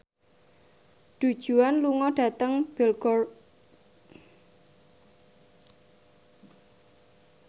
Du Juan lunga dhateng Belgorod